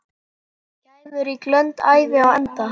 Gæfurík löng ævi á enda.